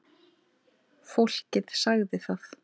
Fólkið sagði það.